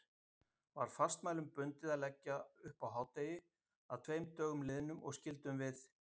Var fastmælum bundið að leggja upp á hádegi að tveim dögum liðnum, og skyldum við